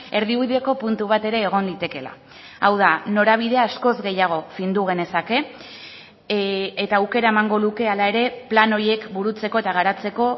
erdibideko puntu bat ere egon litekeela hau da norabidea askoz gehiago findu genezake eta aukera emango luke hala ere plan horiek burutzeko eta garatzeko